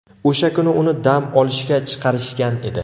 O‘sha kuni uni dam olishga chiqarishgan edi.